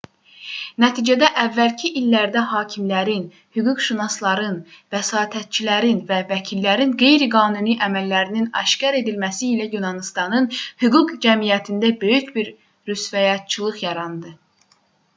nəticədə əvvəlki illərdə hakimlərin hüquqşünasların vəsatətçilərin və vəkillərin qeyri-qanuni əməllərinin aşkar edilməsi ilə yunanıstanın hüquq cəmiyyətində böyük bir rüsvayçılıq yarandı